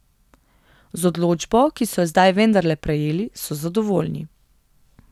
Z odločbo, ki so jo zdaj vendarle prejeli, so zadovoljni.